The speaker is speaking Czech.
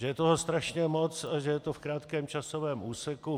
Že je toho strašně moc a že je to v krátkém časovém úseku.